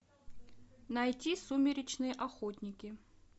найти сумеречные охотники